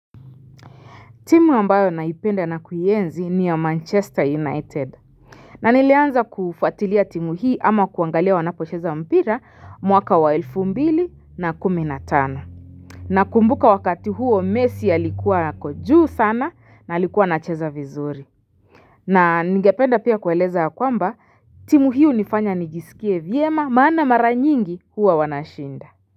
Timu ambayo naipenda na kuienzi ni ya manchester united na nilianza kufuatilia timu hii ama kuangalia wanapocheza mpira mwaka wa elfu mbili na kumi na tano Nakumbuka wakati huo Messi alikuwa ako juu sana na alikuwa anacheza vizuri na ningependa pia kueleza ya kwamba timu hii hunifanya nijisikie vyema maana mara nyingi huwa wanashinda.